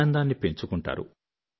ఆనందాన్ని పెంచుకుంటారు